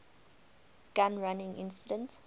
gun running incident